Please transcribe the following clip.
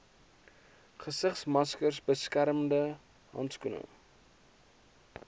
gesigsmaskers beskermende handskoene